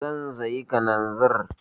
Zan sayi kananzir.